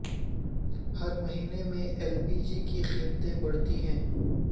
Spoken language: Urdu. ہر مہینے میں ایل پی جی کی قیمتیں بڑھتی ہیں